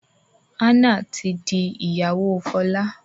Anna tí dì iyawo Fola.